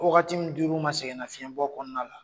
Wagati min dir'u ma sɛgɛnnafiɲɛbɔ kɔnɔna la.